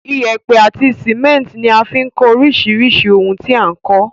Iyẹ́pẹ́ àti cement ní a fi n kó orísirísì oun ti a n kó